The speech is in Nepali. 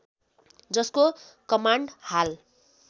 जसको कमाण्ड हाल